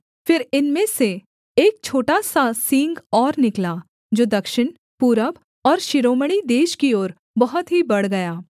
फिर इनमें से एक छोटा सा सींग और निकला जो दक्षिण पूरब और शिरोमणि देश की ओर बहुत ही बढ़ गया